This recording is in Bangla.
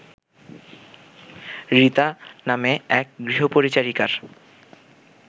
রিতা নামে এক গৃহপরিচারিকার